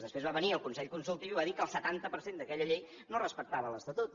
després va venir el consell consultiu i va dir que el setanta per cent d’aquella llei no respectava l’estatut